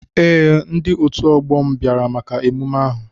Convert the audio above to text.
Ee, ndi otu ọgbọ mụ bịara maka emume ahụ.